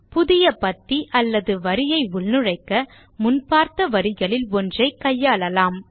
புதிய பத்தி அல்லது வரியை உள்நுழைக்க முன் பார்த்த வழிகளில் ஒன்றை கையாளலாம்